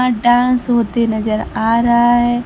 अह dance होते नजर आ रहा है।